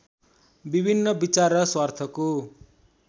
विभिन्न विचार र स्वार्थको